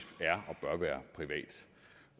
er